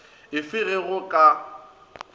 e fe ge go ka